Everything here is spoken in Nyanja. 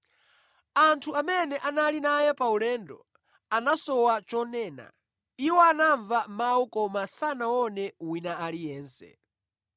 Anthu amene anali naye paulendo, anasowa chonena; iwo anamva mawu koma sanaone wina aliyense.